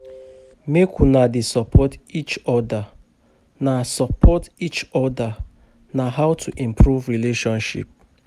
Make una dey support eachoda, na support eachoda, na how to improve relationship